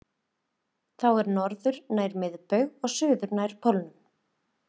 Þá er norður nær miðbaug og suður nær pólnum.